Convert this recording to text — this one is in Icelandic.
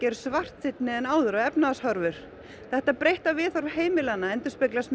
eru svartsýnni en áður á efnahagshorfur þetta breytta viðhorf heimilanna endurspeglast